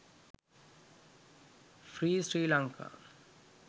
free sri lanka